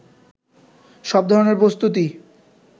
সব ধরনের প্রস্তুতি